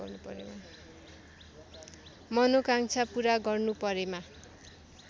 मनोकाङ्क्षा पूरा गर्नुपरेमा